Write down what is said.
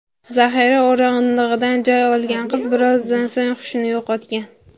Zahira o‘rindig‘idan joy olgan qiz birozdan so‘ng hushini yo‘qotgan.